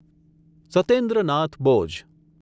Satyendra Nath Bose